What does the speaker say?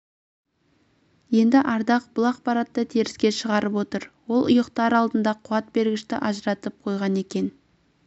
енді ардақ бұл ақпаратты теріске шығарып отыр ол ұйықтар алдында қуат бергішті ажыратып қойған екен деп